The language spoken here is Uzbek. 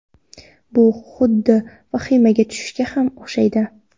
Bu xuddi vahimaga tushishga ham o‘xshaydi.